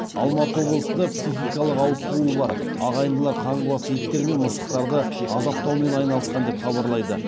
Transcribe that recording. алматы облысында психикалық ауытқуы бар ағайындылар қаңғыбас иттер мен мысықтарды азаптаумен айналысқан деп хабарлайды